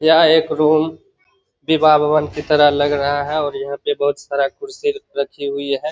यह एक रूम विवाह भवन की तरह लग रहा है और यहां पे बहुत सारा कुर्सी रखी हुई है।